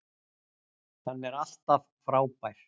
Hann er alltaf frábær.